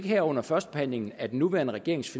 her under førstebehandlingen af den nuværende regerings